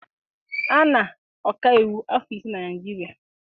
A na-ọkaiwu afọ ise na Naịjirịa.